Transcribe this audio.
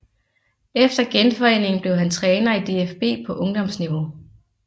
Efter genforeningen blev han træner i DFB på ungdomsniveau